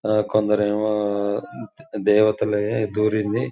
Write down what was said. ఆహ్ కొందరేమో దేవతల్లయే దూరింది.